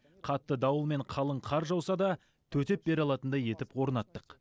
қатты дауыл мен қалың қар жауса да төтеп бере алатындай етіп орнаттық